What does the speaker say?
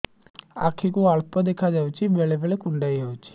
ଆଖି କୁ ଅଳ୍ପ ଦେଖା ଯାଉଛି ବେଳେ ବେଳେ କୁଣ୍ଡାଇ ହଉଛି